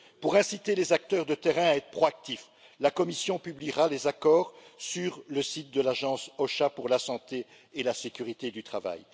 Pour inciter les acteurs de terrain à être proactifs, la Commission publiera les accords sur le site de l'Agence OSHA pour la santé et la sécurité au travail.